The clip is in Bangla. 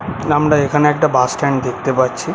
আমরা এইখানে একটা বাস স্ট্যান্ড দেখতে পারছি।